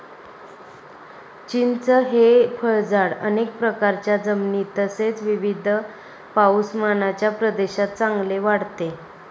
चिंच हे फळझाड अनेक प्रकारच्या जमिनीत तसेच विविध पाऊसमानच्या प्रदेशात चांगले वाढते.